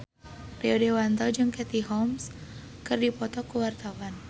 Rio Dewanto jeung Katie Holmes keur dipoto ku wartawan